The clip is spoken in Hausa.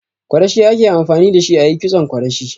Kwarashi ake amfani dashi ayi kitson kwarashi.